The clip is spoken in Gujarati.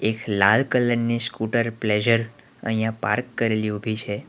લાલ કલર ની સ્કૂટર પ્લેઝર અહીંયા પાર્ક કરેલી ઉભી છે.